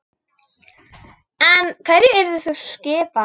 En hver yrði sú skipan?